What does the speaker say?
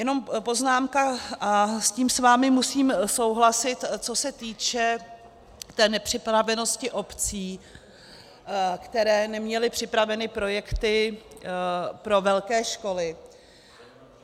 Jenom poznámka, a s tím s vámi musím souhlasit, co se týče té nepřipravenosti obcí, které neměly připravené projekty pro velké školy.